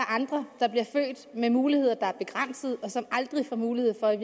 andre der bliver født med muligheder der er begrænsede og som i aldrig får mulighed for at